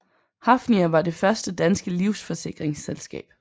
Hafnia var det første danske livsforsikringsselskab